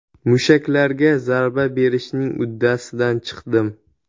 Mushaklarga zarba berishning uddasidan chiqdim.